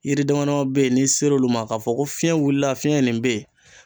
Yiri dama dama be yen n'i sera olu ma ka fɔ ko fiɲɛ wulila fiyɛn ye nin ben